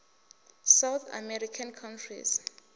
south american countries